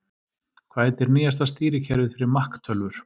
Hvað heitir nýjasta stýrikerfið fyrir Mac tölvur?